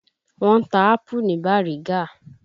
Wọ́n ń ta ápù ní Bàrígá.